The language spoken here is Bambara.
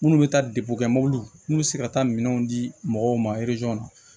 Minnu bɛ taa de bɔ mobiliw n'u bɛ se ka taa minɛnw di mɔgɔw ma